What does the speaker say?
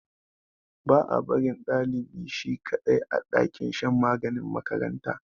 Ba a barin dlibi shi kadai, a dakin shan maganin makaranta.